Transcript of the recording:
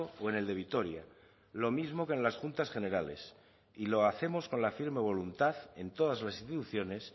o en el de vitoria lo mismo que en las juntas generales y lo hacemos con la firme voluntad en todas las instituciones